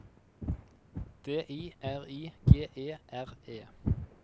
D I R I G E R E